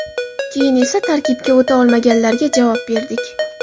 Keyin esa tarkibga o‘ta olmaganlarga javob berdik”.